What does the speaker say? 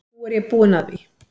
Nú er ég búin að því.